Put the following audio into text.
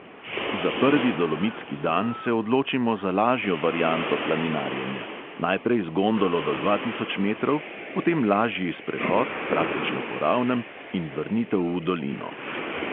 Za prvi dolomitski dan se odločimo za lažjo varianto planinarjenja: najprej z gondolo do dva tisoč metrov, potem lažji sprehod, praktično po ravnem in vrnitev v dolino.